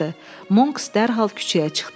Monks dərhal küçəyə çıxdı.